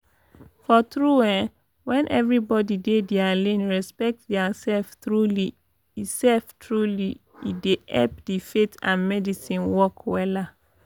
for tru eh wen everybodi dey dia lane respect dia sef truly e sef truly e dey epp di faith and medicine work wella